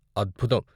అద్భుతం!